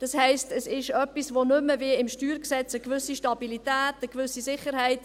Das heisst, es gibt nicht mehr, wie im StG, eine gewisse Stabilität, eine gewisse Sicherheit;